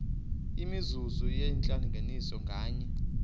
imizuzu yentlanganiso nganye